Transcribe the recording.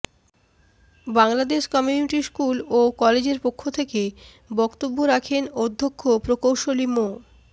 Bangladesh community school ও কলেজের পক্ষ থেকে বক্তব্য রাখেন অধ্যক্ষ প্রকৌশলী মো